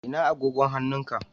Ina agogon hannun ka?